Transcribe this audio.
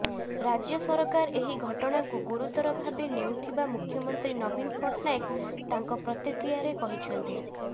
ରାଜ୍ୟ ସରକାର ଏହି ଘଟଣାକୁ ଗୁରୁତର ଭାବେ ନେଉଥିବା ମୁଖ୍ୟମନ୍ତ୍ରୀ ନବୀନ ପଟ୍ଟନାୟକତାଙ୍କ ପ୍ରତିକ୍ରିୟାରେ କହିଛନ୍ତି